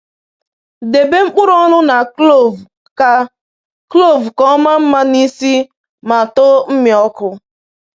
Debe mkpụrụ ọnụ na kloovu ka kloovu ka o maa mma n’isi ma too mmịọkụ.